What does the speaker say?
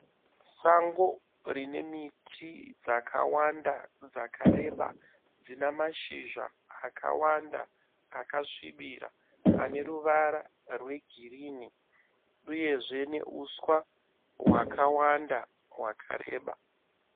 Sango rine miti dzakawanda dzakareba dzina mashizha akawanda akasvibira ane ruvara rwe ghirini uyezve neuswa hwakawanda hwakareba.